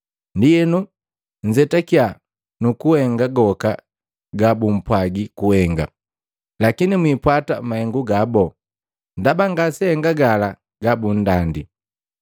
Ndienu nzetakiya nukuhenga goka gabumpwaji kuhenga. Lakini mwiipwata mahengu gabu, ndaba ngaseahenga gala gabundandi.